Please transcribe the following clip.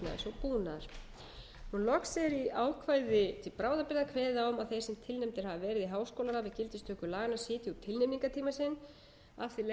og búnaðar loks er í ákvæði til bráðabirgða kveðið a um að þeir sem tilnefndir hafa verið í háskólaráð við gildistöku laganna sitji út tilnefningartíma sinn af því leiðir að